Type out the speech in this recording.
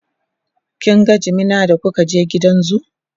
kin ga jimina da kuka je gidan zoo?